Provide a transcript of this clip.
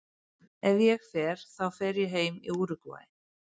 Ef ég fer þá fer ég heim til Úrúgvæ.